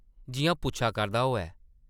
जिʼयां पुच्छा करदा होऐ ।